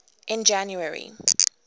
in january